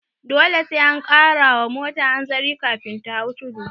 Dole sai an kara wa mota hanzari kafin ta hau tudu